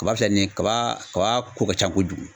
Kaba filɛ nin kaba kaba ko ka can kojugu.